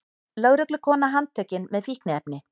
Lögreglukona handtekin með fíkniefni